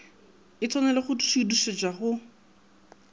e tshwanele go šuithišetšwa go